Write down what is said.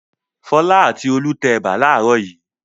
Fọlá àti Olú tẹ ẹ̀bà láàárọ̀ yìí.